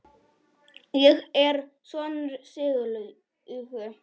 Ég er sonur Sylgju